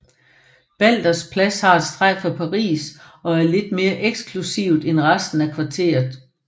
Balders Plads har et strejf af Paris og er lidt mere eksklusivt end resten af kvarteret